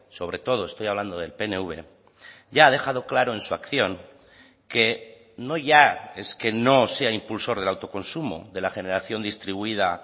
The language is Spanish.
sobre todo estoy hablando del pnv ya ha dejado claro en su acción que no ya es que no sea impulsor del autoconsumo de la generación distribuida